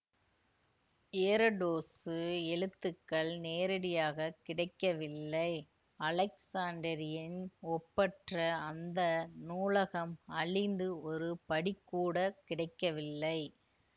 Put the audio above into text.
எரடோசு எழுத்துக்கள் நேரடியாக கிடைக்கவில்லை அலெக்சாண்டிரியின் ஒப்பற்ற அந்த நூலகம் அழிந்து ஒரு படிக்கூட கிடைக்கவில்லை